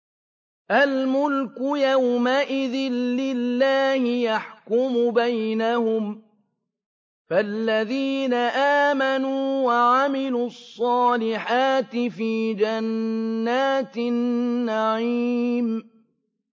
الْمُلْكُ يَوْمَئِذٍ لِّلَّهِ يَحْكُمُ بَيْنَهُمْ ۚ فَالَّذِينَ آمَنُوا وَعَمِلُوا الصَّالِحَاتِ فِي جَنَّاتِ النَّعِيمِ